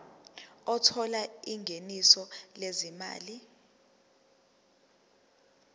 othola ingeniso lezimali